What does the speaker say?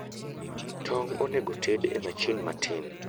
Tong' onegoted e machin matin